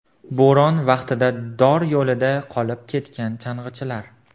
Bo‘ron vaqtida dor yo‘lida qolib ketgan chang‘ichilar.